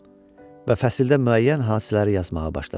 Və fəsildə müəyyən hadisələri yazmağa başladım.